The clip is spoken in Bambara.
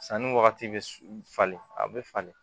Sanni wagati bɛ falen a bɛ falen